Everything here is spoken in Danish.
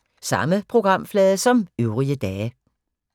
Samme programflade som øvrige dage